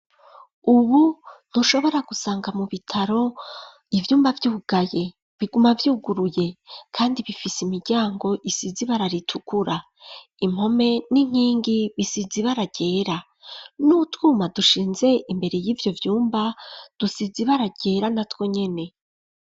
Ubu ntushobora gusanga mu bitaro ivyumba vyugaye biguma vyuguruye kandi bifise imiryango isize ibara ritukura impome n'inkingi bisize ibara ryera n'utwuma dusize imbere yivyo vyumba dusize ibara ryera na twonyene.